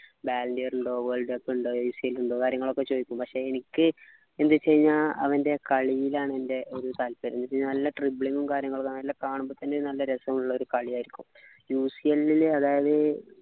ഉണ്ടോ world cup ഉണ്ടോ ഉണ്ടോ കാര്യങ്ങളൊക്കെ ചോദിക്കും പക്ഷെ എനിക്ക് എന്തച്ചു കഴിഞ്ഞാ അവൻ്റെ കളിയിലാണ് എൻ്റെ ഒരു താല്പര്യം എനിക്ക് നല്ല dribbling ഉം കാര്യങ്ങളൊക്കെ നല്ല കാണുമ്പോ തന്നെ നല്ല രസമുള്ളൊരു കളിയായിരിക്കും അതായത്